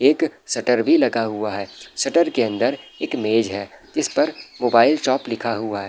एक शटर भी लगा हुआ है शटर के अंदर एक मेज है जिस पर मोबाइल शॉप लिखा हुआ है।